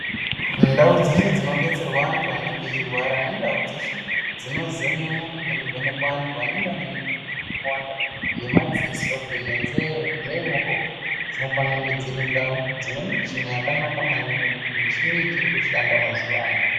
Ndau dzeshe dzinodetserwa antu anenge eirwara nendau dzeshe dzinozemenwa nekuvhenekwa antu anenge ane mi kawanda yemadzisonyenzee dzofanire kunge dziri nda dzine michini yakanaka maningi michini ichiri kushanda mazuwa ano.